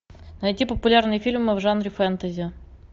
найти популярные фильмы в жанре фэнтези